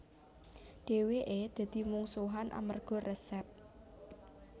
Dheweke dadi mungsuhan amerga resep